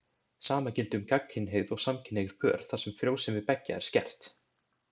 Sama gildi um gagnkynhneigð og samkynhneigð pör, þar sem frjósemi beggja er skert.